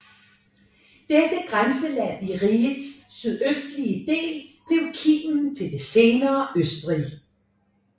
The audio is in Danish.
Dette grænseland i rigets sydøstlige del blev kimen til det senere Østrig